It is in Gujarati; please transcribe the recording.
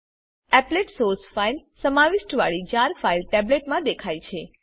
એપ્લેટ સોર્સ ફાઇલ સમાવિષ્ટ વાડી જાર ફાઈલ ટેબ્લેટ મા દેખાય છે